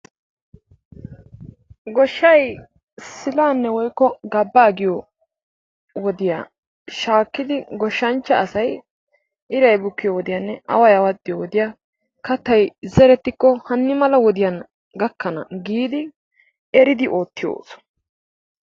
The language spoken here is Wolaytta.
Goshay sillane woykko gabbaa giyo wodiyaa shaakidi goshshanchcha asay iray bukkiyo wodiyaanne away awaxiyo wodiyaa kaattay zerettikko hanni mala wodiyaan gakkana giidi eridi oottiyo ooso.